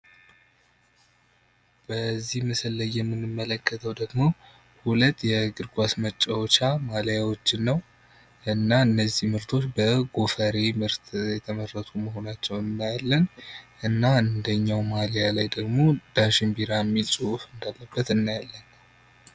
በዚህ ምስል ላይ የምንመለከተው ደግሞ ሁለት የእግር ኳስ መጫወቻ ማሊያዎችን ነው ። እና እነዚህ ምርቶች በጎፈሬ ምርት የተመረቱ መሆናቸውን እናያለን እና አንደኛው ማሊያ ላይ ደግሞ ዳሽን ቢራ ሚል ፅሁፍ እንዳለበት እናያለን።